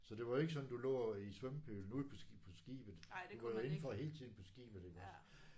Så det var jo ikke sådan du lå og var i svømmepølen ude på på skibet. Du var jo indenfor hele tiden på skibet iggås